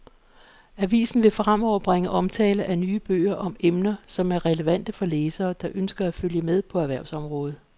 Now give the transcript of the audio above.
Avisen vil fremover bringe omtale af nye bøger om emner, som er relevante for læsere, der ønsker at følge med på erhvervsområdet.